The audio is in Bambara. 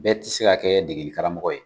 Bɛɛ ti se ka kɛ degeli karamɔgɔ ye.